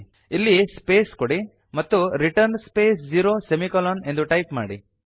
ಇಲ್ಲಿ ಸ್ಪೇಸ್ ಕೊಡಿ ಮತ್ತು ರಿಟರ್ನ್ ಸ್ಪೇಸ್ ಝೀರೊ ಸೆಮಿಕೋಲನ್ 160ಎಂದು ಟೈಪ್ ಮಾಡಿ